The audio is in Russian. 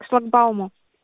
шлагбаума